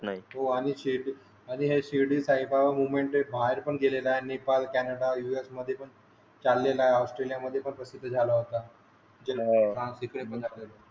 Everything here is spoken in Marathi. नाही हो आणि हे शिर्डी साई बाबा मुहमेंट बाहेर पण गेलेल्या आहे नेपाळ कॅनडा US मध्ये पण चालेला आहे ऑस्ट्रोलीय मध्ये पण प्रसिद्ध झाला होता. हा तिकडे पण